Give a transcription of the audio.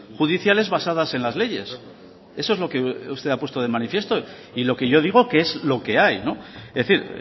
judiciales basadas en las leyes eso es lo que usted ha puesto de manifiesto y lo que yo digo que es lo que hay es decir